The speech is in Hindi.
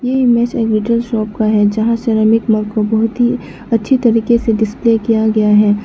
ये इमेज शॉप का है जहां मग को बहोत ही अच्छी तरीके से डिस्प्ले किया गया है।